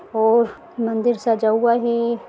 ओर मंदिर सजा हुआ है।